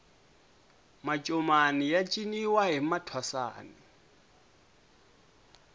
mancomani ya ciniwa hi mathwasani